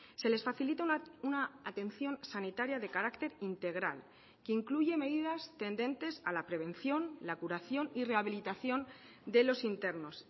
se les facilita una atención sanitaria de carácter integral que incluye medidas tendentes a la prevención la curación y rehabilitación de los internos